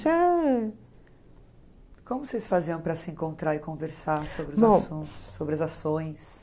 Como vocês faziam para se encontrar e conversar sobre os assuntos, sobre as ações?